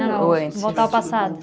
voltar ao passado.